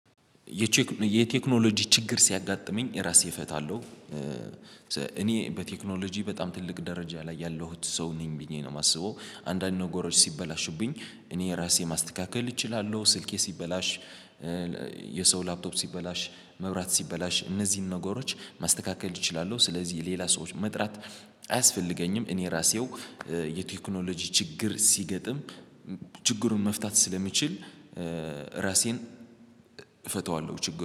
የቴክኖሎጂ ችግር ሲያጋጥመኝ ራሴ እፈታለሁ። እኔ በቴክኖሎጂ በጣም ትልቅ ደረጃ ላይ ያለሁት ሰው ነኝ ብዬ ነው የማስበው። አንዳንድ ነገሮች ሲበላሹብኝ እኔ ራሴ ማስተካከል እችላለሁ ስልኬ ሲበላሽ። የሰው ላፕቶፕ ሲበላሽ መብራት ሲበላሽ እነዚህን ነገሮች ማስተካከል እችላለሁ። ስለዚህ ሌላ ሰዎች መጥራት አያስፈልገኝም። እኔ ራሴው። የቴክኖሎጂ ችግር ሲገጥም ችግሩን መፍታት ስለሚችል። ራሴን እፈተዋለሁ ችግር